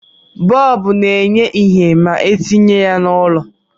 Bọọbu na-enye ihe ma etinye ya n'ụlọ